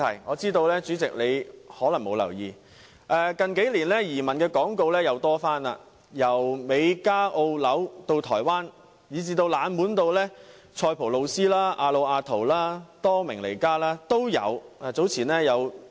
我知道主席可能並沒有留意，近年有關移民的廣告再次增加，移民地點包括美加、澳洲、新西蘭，以至台灣，甚至冷門如塞浦路斯、亞努亞圖、多明尼加等。